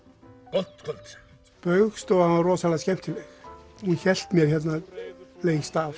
gott kvöld Spaugstofan var rosalega skemmtileg hún hélt mér hérna lengst af